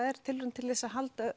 er tilraun til þess